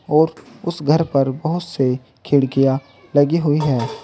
और उस घर पर बहोत से खिड़कियां लगी हुई है।